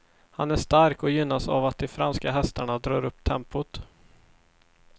Han är stark och gynnas av att de franska hästarna drar upp tempot.